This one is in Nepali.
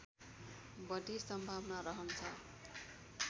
बढी सम्भावना रहन्छ